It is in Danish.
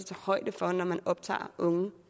tage højde for når man optager unge